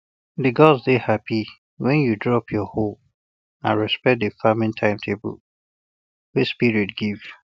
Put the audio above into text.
the gods dey happy when you drop your hoe and respect the farming timetable wey spirit give